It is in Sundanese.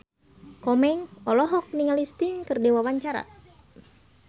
Komeng olohok ningali Sting keur diwawancara